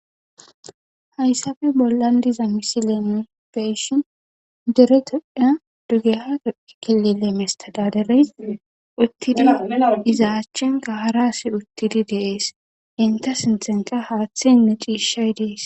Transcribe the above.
Haysappe bollan diza misileni be7ishi dere toophiyan mesththedaaderee uththidi iza achenkka haraa asi uththidi de7ees; henththe sinththanka haaththaynne ciishshey de7ees.